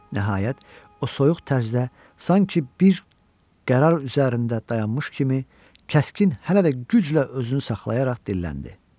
Nəhayət o soyuq tərzdə sanki bir qərar üzərində dayanmış kimi kəskin, hələ də güclə özünü saxlayaraq dilləndi.